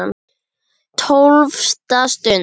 TÓLFTA STUND